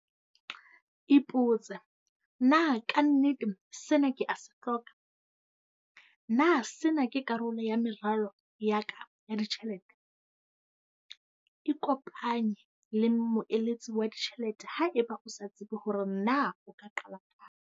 Ipotse. Na ka nnete sena ke a se hloka? Na sena ke karolo ya meralo ya ka ya ditjhelete? Ikopanye le moeletsi wa ditjhelete haeba o sa tsebe hore na o ka qala kae.